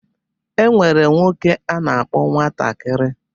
E nwere nwoke a na-akpọ nwatakiri